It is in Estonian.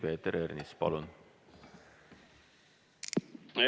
Peeter Ernits, palun!